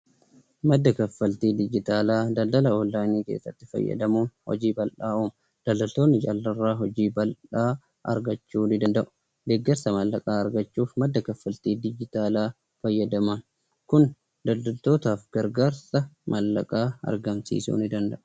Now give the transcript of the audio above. Madda kaffaltii digiitaalaa, daldala oonlaayinii keessatti fayyadamuun hojii uumuun daldaltoonni hojii bal'aa hojjachuu ni danda'u. Deeggarsa maallaqaa argachuuf madda kaffaltii digitaalaa fayyadaman kun daldaltootaaf gargaarsa maallaqaa argamsiisuu ni danda'a.